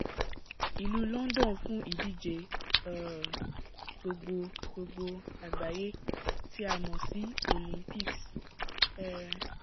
ìlú london fún ìdíje um gbogbo gbogbo àgbáyé tí a mọ̀ sí olympics um